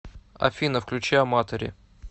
афина включи аматори